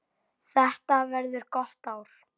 Þetta verður gott ár.